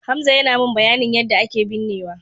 Hamza yana min bayanin yadda ake binnewa.